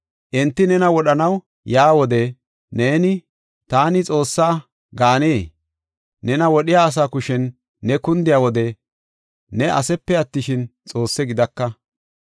Enti nena wodhanaw yaa wode neeni, ‘Taani xoossa’ gaanee? Nena wodhiya asaa kushen ne kundiya wode ne asepe attishin, xoosse gidaka.